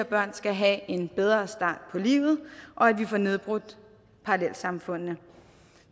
børn skal have en bedre start på livet og at vi får nedbrudt parallelsamfundene